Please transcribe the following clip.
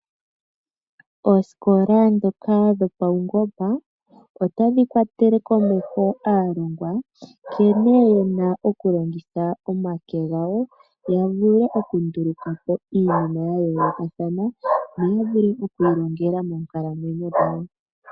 Oosikola ndhoka dhopaungomba otadhi kwatele komeho aalongwa nkene yena okulongitha omake gawo ya vule okunduluka po iinima ya yoolokathana no yavule okwiilongela moonkalamwenyo dhawo.